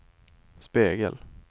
spegel